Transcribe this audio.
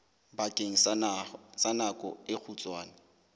bakeng sa nako e kgutshwane